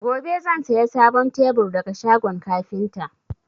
Gobe zan saya sabon tebur daga shagon kafinta